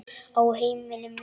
Á heimili mínu, maður.